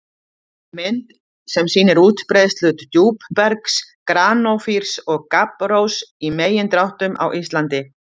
Mynd sem sýnir útbreiðslu djúpbergs- granófýrs og gabbrós- í megindráttum á Íslandi.